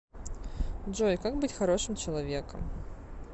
джой как быть хорошим человеком